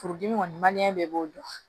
Furudimi kɔni bɛɛ b'o dɔn